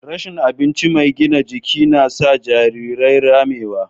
Rashin abincin mai gina jiki na sa jarirai ramewa.